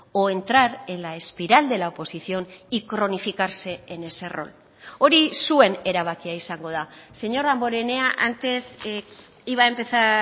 o entrar en la espiral de la oposición y cronificarse en ese rol hori zuen erabakia izango da señor damborenea antes iba a empezar